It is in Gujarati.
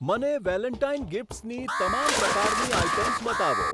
મને વેલેન્ટાઈન ગિફ્ટ્સની તમામ પ્રકારની આઇટમ્સ બતાવો.